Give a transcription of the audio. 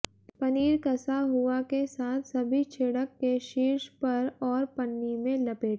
पनीर कसा हुआ के साथ सभी छिड़क के शीर्ष पर और पन्नी में लपेटा